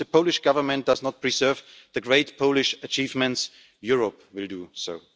If the Polish Government does not preserve the great Polish achievements, Europe will